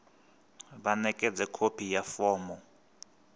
vha ṋekedze khophi ya fomo